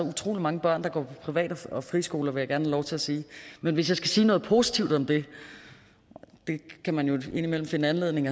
utrolig mange børn der går på privat og friskoler vil jeg lov til at sige men hvis jeg skal sige noget positivt om det det kan man jo indimellem finde anledning